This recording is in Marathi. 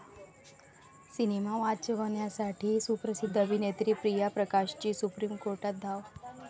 सिनेमा वाचवण्यासाठी सुप्रसिद्ध अभिनेत्री प्रिया प्रकाशची सुप्रीम कोर्टात धाव!